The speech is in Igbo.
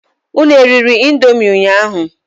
Unu eriri indomi ụnyaahụ?